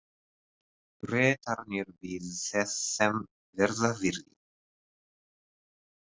Bretarnir biðu þess sem verða vildi.